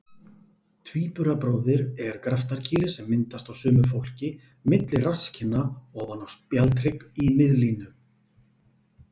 Tvíburabróðir er graftarkýli sem myndast á sumu fólki milli rasskinna ofan á spjaldhrygg í miðlínu.